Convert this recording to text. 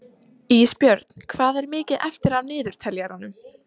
Ísbjörn, hvað er mikið eftir af niðurteljaranum?